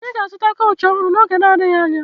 Anyị ga-azụta kaụchị ọhụrụ oge na-adịghị anya